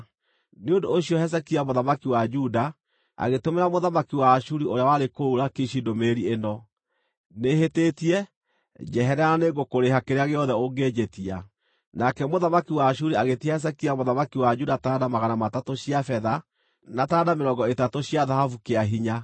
Nĩ ũndũ ũcio Hezekia mũthamaki wa Juda agĩtũmĩra mũthamaki wa Ashuri ũrĩa warĩ kũu Lakishi ndũmĩrĩri ĩno: “Nĩhĩtĩtie. Njeherera na nĩngũkũrĩha kĩrĩa gĩothe ũngĩnjĩtia.” Nake mũthamaki wa Ashuri agĩĩtia Hezekia mũthamaki wa Juda taranda magana matatũ cia betha, na taranda mĩrongo ĩtatũ cia thahabu kĩa hinya.